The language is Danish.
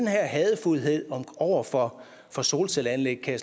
hadefuldhed over for for solcelleanlæg kan